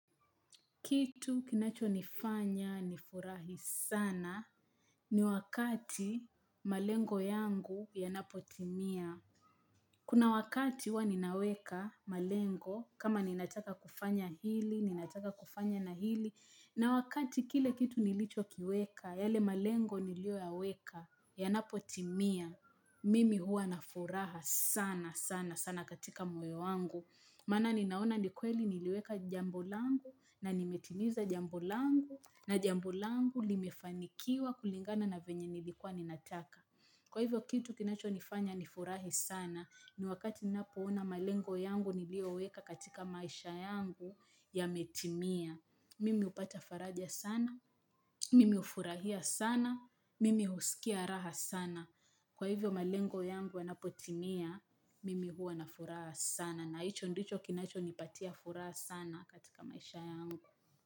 Kitu kinacho nifanya nifurahi sana ni wakati malengo yangu ya napotimia. Kuna wakati huwa ninaweka malengo kama ninataka kufanya hili, ninataka kufanya na hili. Na wakati kile kitu nilicho kiweka, yale malengo nilio yaweka ya napotimia. Mimi huwa nafuraha sana sana sana katika moyo wangu. Maana ninaona nikweli niliweka jambolangu na nimetiniza jambolangu na jambolangu limefanikiwa kulingana na venye nilikwa ninataka. Kwa hivyo kitu kinacho nifanya nifurahi sana ni wakati nina poona malengo yangu niliyoweka katika maisha yangu ya metimia. Mimi hupata faraja sana, mimi ufurahia sana, mimi husikia raha sana. Kwa hivyo malengo yangu yanapotimia mimi huwa na furaha sana na hicho ndicho kinacho nipatia furaha sana katika maisha yangu.